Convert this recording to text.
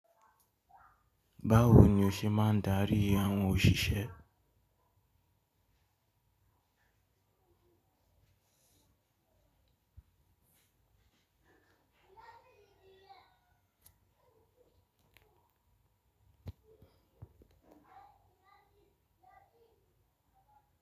Báwo ni o ṣe máa ń daríi àwọn òṣìṣẹ́?